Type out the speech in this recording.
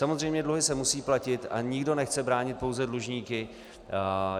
Samozřejmě dluhy se musí platit a nikdo nechce bránit pouze dlužníky.